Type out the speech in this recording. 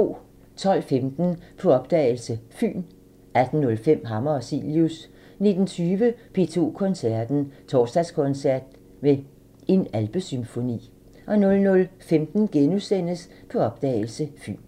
12:15: På opdagelse – Fyn 18:05: Hammer og Cilius 19:20: P2 Koncerten – Torsdagskoncert med En alpesymfoni 00:15: På opdagelse – Fyn *